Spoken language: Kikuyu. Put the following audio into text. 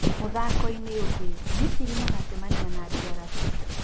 Mũthako-inĩ ũngĩ, Misiri magacemania na DRC